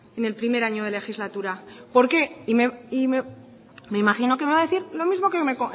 en el primer año de legislatura por qué y me imagino que me va a decir lo mismo